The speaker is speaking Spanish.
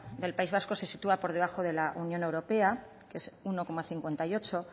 del país vasco se sitúa por debajo de la unión europea que es uno coma cincuenta y ocho